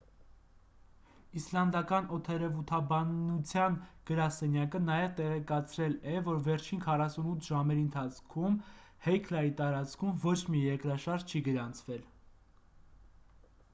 իսլանդական օդերևութաբանության գրասենյակը նաև տեղեկացրել է որ վերջին 48 ժամերի ընթացքում հեքլայի տարածքում ոչ մի երկրաշարժ չի գրանցվել